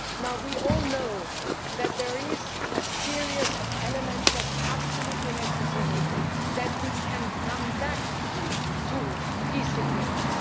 Now we all know that there is a series of elements that is absolutely necessary so that we can come back to peace agreements.